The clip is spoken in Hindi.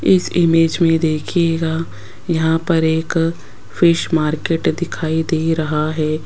इस इमेज मे देखियेगा यहां पर एक फिश मार्केट दिखाई दे रहा है।